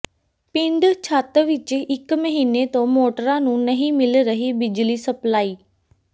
ਪਿੰਡ ਛੱਤ ਵਿੱਚ ਇਕ ਮਹੀਨੇ ਤੋਂ ਮੋਟਰਾਂ ਨੂੰ ਨਹੀਂ ਮਿਲ ਰਹੀ ਬਿਜਲੀ ਸਪਲਾਈ